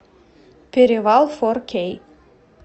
перевал фор кей